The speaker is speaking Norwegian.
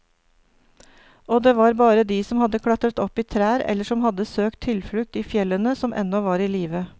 Og det var bare de som hadde klatret opp i trær eller som hadde søkt tilflukt i fjellene, som ennå var i live.